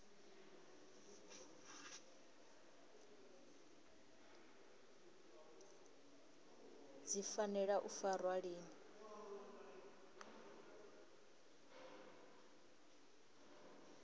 dzi fanela u farwa lini